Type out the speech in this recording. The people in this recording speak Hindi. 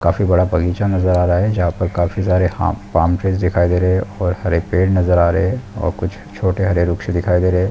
काफी बड़ा बगीचा नजर आ रहा है जहाँ पर काफी सारे हाम पाम ट्रीस दिखाई दे रहे है और हरे पेड़ नजर आ रहे हैं और कुछ छोटे हरे वृक्ष दिखाई दे रहे है।